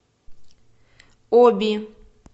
оби